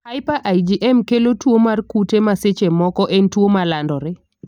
Hyper IgM kelo tuo mar kute ma seche moko en tuo malandore.